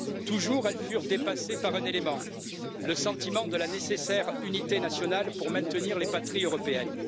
Toujours elles furent dépassées par un élément le sentiment de la nécessaire unité nationale pour maintenir les patries européennes.